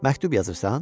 Məktub yazırsan?